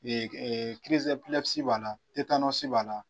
b'a la b'a la.